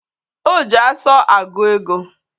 O ji asu agu ego